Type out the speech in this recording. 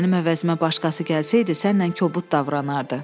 Mənim əvəzimə başqası gəlsəydi, sənlə kobud davranardı.